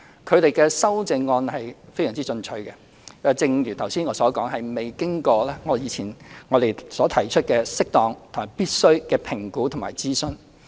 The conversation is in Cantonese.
他們的修正案非常進取，正如我剛才所說，這是沒有經過我在之前提及的適當及必須的評估及諮詢。